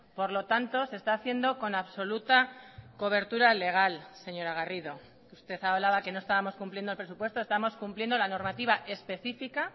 por lo tanto se está haciendo con absoluta cobertura legal señora garrido usted hablaba que no estábamos cumpliendo el presupuesto estamos cumpliendo la normativa específica